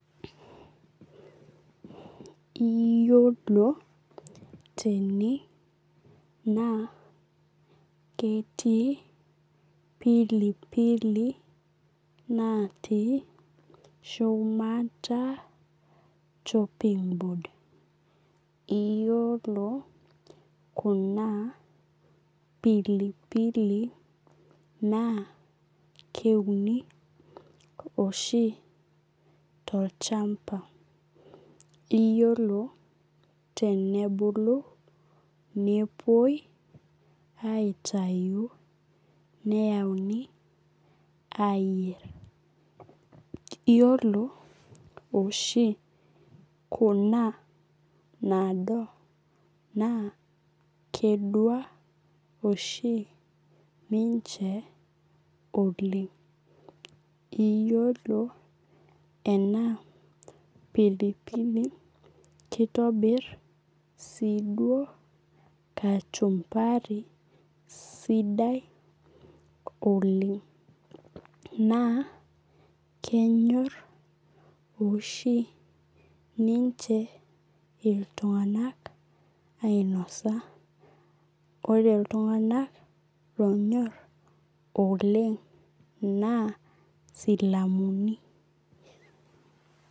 Iyolo tene na ketii pilipili natii shumata chopping board iyolo kuna pilipili na keuni oshi tolchamba iyolo tenebulu napuoi aitaubneyanu ayier iyolo oshi kuna naado na kedua oshi ninche Oleng iyolo ema pilipili kitobir si duo kachumbari sidai oleng na kenyor oleng ltunganak ainosa ore ltunganak onyor oleng na silamuni.